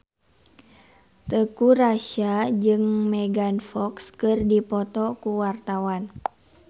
Teuku Rassya jeung Megan Fox keur dipoto ku wartawan